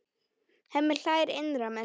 Hemmi hlær innra með sér.